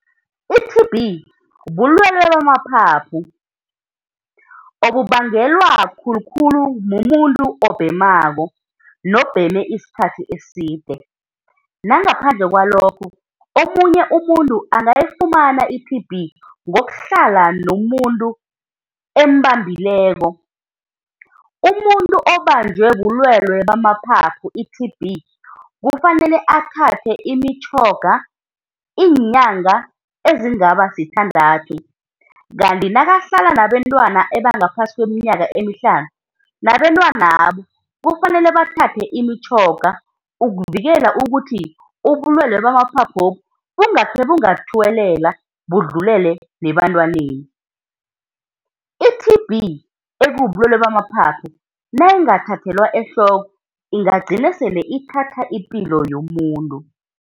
I-T_B bulwelwe bamaphaphu obubangelwa khulu-khulu mumuntu obhemako nobheme isikhathi eside. Nangaphandle kwalokho, omunye umuntu angayifumana i-T_B ngokuhlala nomuntu embambileko. Umuntu obanjwe bulwelwe bamaphaphu, i-T_B, kufanele athathe imitjhoga iinyanga ezingaba sithandathu, kanti nakahlala nabantwana abangaphasi kweminyaka emihlanu, nabentwanabo kufanele bathathe imitjhoga ukuvikela ukuthi ubulwelwe bamaphaphobu bungakhe bungathuwelelabudlulele nebantwaneni. i-T_B ekubulwelwe bamaphaphu nayinghathathelwa ehloko ingagcina sele ithatha ipilo yomuntu.